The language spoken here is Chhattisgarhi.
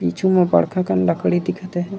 पिछु मा बड़खा कन लकड़ी दिखत हे।